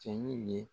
Cɛ in ye